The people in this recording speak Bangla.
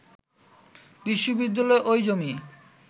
বিশ্ববিদ্যালয় ওই জমি